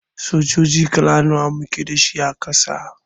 Sojoji kala nawa muke da shi a Ƙasa?